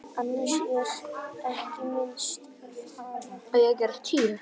Annars er ekki minnst á hana.